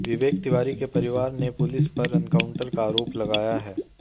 विवेक तिवारी के परिवार ने पुलिस पर एनकाउंटर का आरोप लगाया है